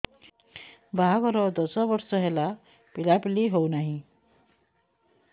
ବାହାଘର ଦଶ ବର୍ଷ ହେଲା ପିଲାପିଲି ହଉନାହି